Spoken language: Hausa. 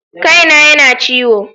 Kai na ya na ciwo.